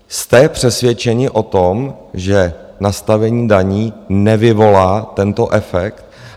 Jste přesvědčeni o tom, že nastavení daní nevyvolá tento efekt?